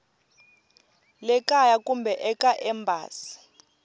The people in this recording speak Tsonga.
le kaya kumbe eka embasi